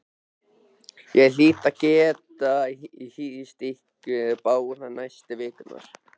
Ég hlýt að geta hýst ykkur báða næstu vikurnar